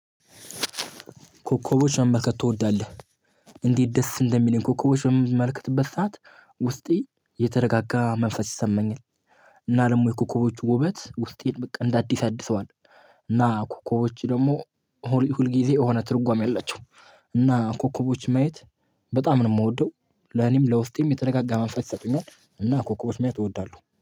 ኮከቦች መመልከት ትወዳለህ? እንዴት ደስ እንደሚለኝ ኮከቦች በምመለከትበት ሰዓት ውስጤ የተረጋጋ መንፈስ ይሰማኛል እና ለሞ የኮኮቦች ውበት ውስጤን በቃ እንደ አዲስ ያድሰዋል። እና ኮኮቦች ደግሞ ሁል ሁል ጊዜ የሆነ ትርጓሜ አላቸው እና ኮከቦች ማየት በጣም ነው የምወደው ለኔም ለውስጤም የተነጋጋ መንፈስ ይሰጡኛል እና ኮከቦች ማየት እወዳለሁ።